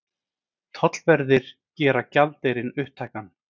Tollverðir gera gjaldeyrinn upptækan